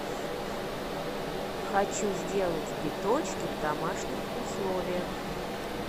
хочу сделать биточки в домашних условиях